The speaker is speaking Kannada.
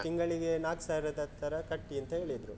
ತಿಂಗಳಿಗೆ ನಾಕು ಸಾವಿರದ ತರ ಕಟ್ಟಿ ಅಂತ ಹೇಳಿದ್ರು.